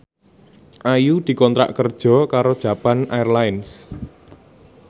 Ayu dikontrak kerja karo Japan Airlines